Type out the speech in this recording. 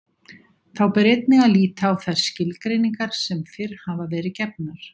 Þá ber einnig að líta á þær skilgreiningar sem fyrr hafa verið gefnar.